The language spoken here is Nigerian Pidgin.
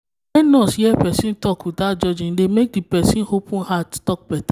when nurse hear person talk without judging e dey make the the person open heart talk better.